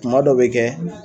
Kuma dɔw bɛ kɛ